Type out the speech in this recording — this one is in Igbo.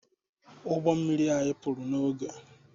Ụgbọ mmiri anyị pụrụ n'oge